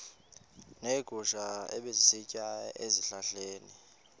neegusha ebezisitya ezihlahleni